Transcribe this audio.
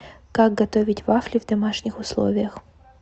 как готовить вафли в домашних условиях